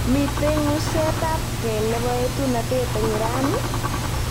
Mitei ng'usetabgei nebo etunatet eng Iran?